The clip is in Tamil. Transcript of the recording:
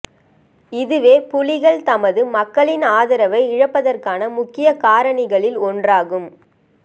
இதுவே புலிகள் தமது மக்களின் ஆதரவை இழப்பதற்கான முக்கிய காரணிகளில் ஒன்றாகும்